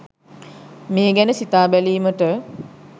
මේ ගැන සිතා බැලීමට